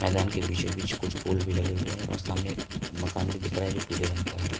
मैदान के बीचों बीच कुछ पोल भी लगे हुए हैं और सामने मकान भी दिख रहा है जो पीले रंग का है।